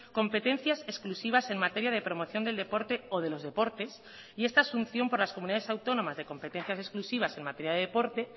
competencias exclusivas en materia de promoción del deporte o de los deportes y esta asunción por las comunidades autónomas de competencias exclusivas en materia de deporte